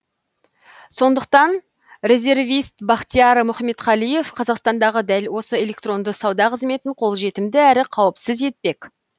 сондықтан резервист бахтияр мұхаметқалиев қазақстандағы дәл осы электронды сауда қызметін қолжетімді әрі қауіпсіз етпек